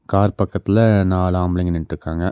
Car பக்கத்துல நாலு ஆம்பளைங்க நின்ட்டுக்காங்க.